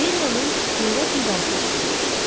Beriyanın heyrət nidası eşidilmişdi.